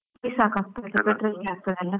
ಸಾಕಾಗ್ತದ? ಪೆಟ್ರೋಲ್ ಗೆ ಆಗ್ತದಲ್ಲ?